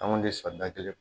An kun tɛ sɔn da kelen